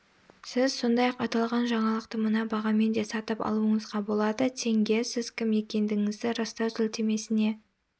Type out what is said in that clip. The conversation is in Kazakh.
сіз сондай-ақ аталған жаңалықты мына бағамен де сатып алуыңызға болады тенге сіз кім екендігіңізді растау сілтемесіне